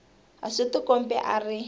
a swi tikombi a ri